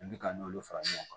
I bi ka n'olu fara ɲɔgɔn kan